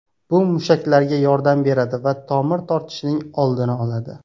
Bu mushaklarga yordam beradi va tomir tortishishining oldini oladi.